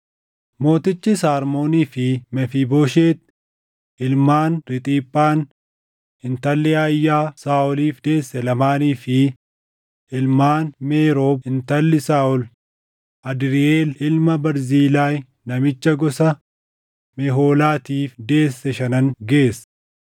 Mootichis Armoonii fi Mefiibooshet ilmaan Riixiphaan intalli Ayyaa Saaʼoliif deesse lamaanii fi ilmaan Meerob intalli Saaʼol Adriiʼeel ilma Barzilaay namicha gosa Mehoolaatiif deesse shanan geesse.